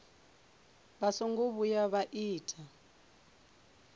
vha songo vhuya vha ita